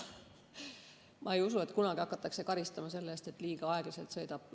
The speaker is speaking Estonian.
Ma ei usu, et kunagi hakatakse karistama selle eest, et keegi liiga aeglaselt sõidab.